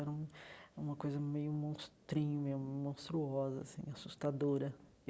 Era um uma coisa meio monstrinho mesmo monstruosa assim, assustadora.